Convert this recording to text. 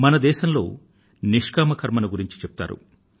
మన దేశంలో నిష్కామ కర్మను గురించి చెప్తారు